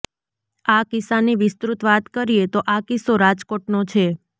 આ કિસ્સાની વિસ્તૃત વાત કરીએ તો આ કિસ્સો રાજકોટ નો છે